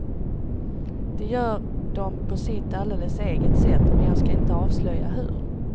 Det gör de på sitt alldeles eget sätt, men jag ska inte avslöja hur.